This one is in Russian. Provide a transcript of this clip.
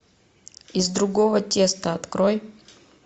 из другого теста открой